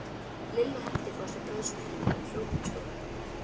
Lilla henti frá sér brauðsneiðinni og hljóp inn í stofu.